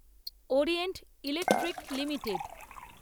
Orient Electric limited